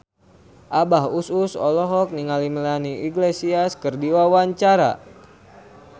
Abah Us Us olohok ningali Melanie Iglesias keur diwawancara